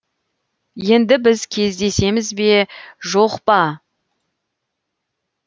енді біз кездесеміз бе жоқ па